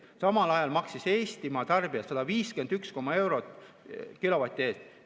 Samal ajal maksis Eestimaa tarbija 151 eurot kilovati eest.